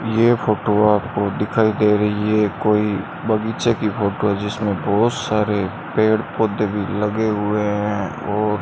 ये फोटो आपको दिखाई दे रही है कोई बगीचे की फोटो है जिसमें बहुत सारे पेड़ पौधे भी लगे हुए हैं और --